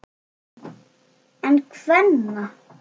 En kvenna?